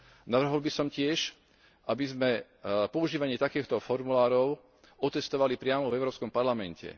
Navrhol by som tiež, aby sme používanie takýchto formulárov otestovali priamo v Európskom parlamente.